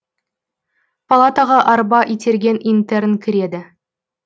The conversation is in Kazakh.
палатаға арба итерген интерн кіреді